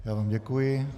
Já vám děkuji.